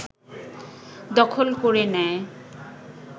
দখল করে নেয়